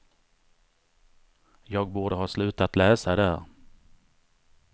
Jag borde ha slutat läsa där.